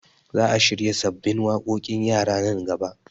Za a shirya sabbin waƙoƙin yara nan gaba